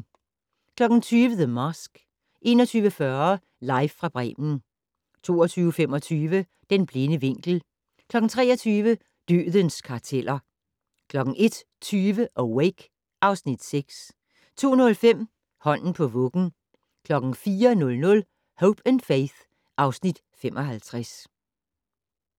20:00: The Mask 21:40: Live fra Bremen 22:25: Den blinde vinkel 23:00: Dødens karteller 01:20: Awake (Afs. 6) 02:05: Hånden på vuggen 04:00: Hope & Faith (Afs. 55)